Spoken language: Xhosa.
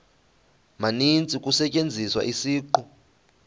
maninzi kusetyenziswa isiqu